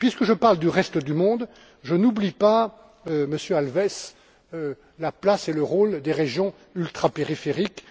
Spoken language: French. Et puisque je parle du reste du monde, je n'oublie pas, Monsieur Alves, la place et le rôle des régions ultrapériphériques.